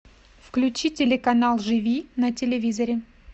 включи телеканал живи на телевизоре